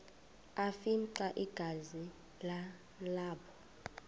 afimxa igazi nalapho